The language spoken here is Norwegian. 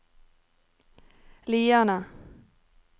Lierne